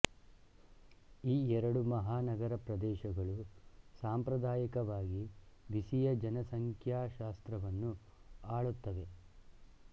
ಈ ಎರಡು ಮಹಾನಗರ ಪ್ರದೇಶಗಳು ಸಾಂಪ್ರದಾಯಿಕವಾಗಿ ಬಿಸಿಯ ಜನಸಂಖ್ಯಾಶಾಸ್ತ್ರವನ್ನು ಆಳುತ್ತವೆ